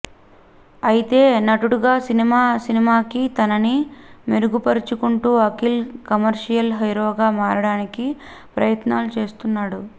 అయితే నటుడుగా సినిమా సినిమాకి తనని మెరుగు పరుచుకుంటూ అఖిల్ కమర్షియల్ హీరోగా మారడానికి ప్రయత్నాలు చేస్తున్నాడు